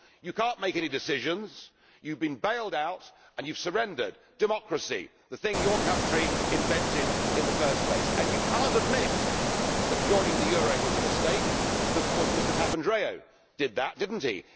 You cannot make any decisions, you have been bailed out and you have surrendered. Democracy the thing your country invented in the first place, and you cannot admit that joining the euro was a mistake, because of course Mr Papandreou did that, didn't